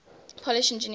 polish engineers